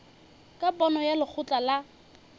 ka pono ya lekgotla la